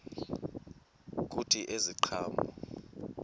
kuthi ezi ziqhamo